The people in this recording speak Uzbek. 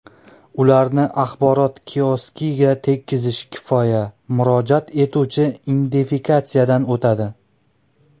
Ularni axborot kioskiga tekizish kifoya murojaat etuvchi identifikatsiyadan o‘tadi.